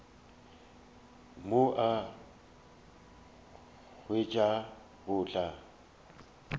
mo a nkhwetša go tla